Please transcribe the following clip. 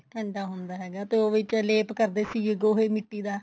ਠੰਡਾ ਹੁੰਦਾ ਹੈਗਾ ਤੇ ਉਹ ਵਿੱਚ ਲੇਪ ਕਰਦੇ ਸੀਗੇ ਗੋਹੇ ਮਿੱਟੀ ਦਾ